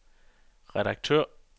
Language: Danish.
redaktør